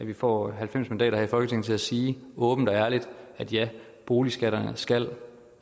vi får halvfems mandater her i folketinget til at sige åbent og ærligt ja boligskatterne skal